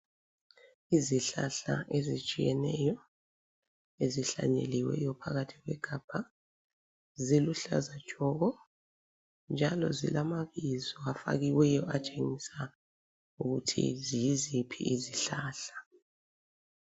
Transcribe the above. Izihlahla ezitshiyeneyo ezihlanyeliweyo phakathi kwegabha, ziluhlaza tshoko njalo zilamabizo afakiweyo atshengisa ukuthi yiziphi izihlahla.